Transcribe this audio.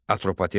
Atropatena.